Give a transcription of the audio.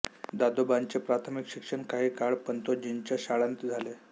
दादोबांचे प्राथमिक शिक्षण काही काळ पंतोजींच्या शाळांत झाले